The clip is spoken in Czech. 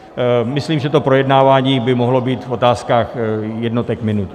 Myslím, že to projednávání by mohlo být v otázkách jednotek minut.